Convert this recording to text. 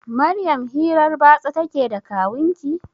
Maryam hirar batsa ta ke da kawunki?